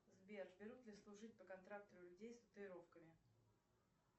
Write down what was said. сбер берут ли служить по контракту людей с татуировками